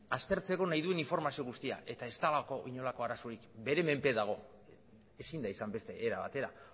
aztertzeko nahi duen informazio guztia eta ez dagoelako inolako arazorik bere menpe dago ezin da izan beste era batera